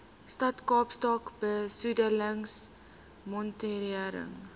stad kaapstad besoedelingsmonitering